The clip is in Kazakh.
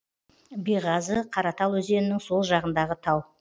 беғазы қаратал өзенінің сол жағындағы тау